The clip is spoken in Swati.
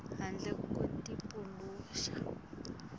handle ko tipaluxa